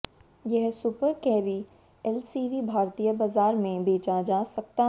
यह Super Carry LCV भारतीय बाज़ार में बेचा जा सकता है